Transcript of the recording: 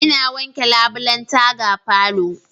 Ina wanke labulen taga falo.